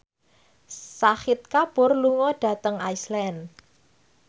Shahid Kapoor lunga dhateng Iceland